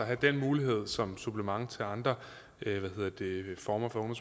er den mulighed som et supplement til andre former for